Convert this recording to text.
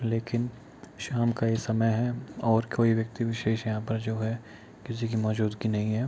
लेकिन शाम का ये समय है और कोई व्यक्ति विशेष यहाँ पर जो है किसी की मौजूदगी नहीं है।